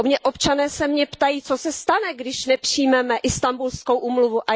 Občané se mě ptají Co se stane, když nepřijmeme Istanbulskou úmluvu?